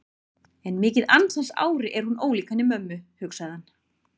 En mikið ansans ári er hún ólík henni mömmu, hugsaði hann.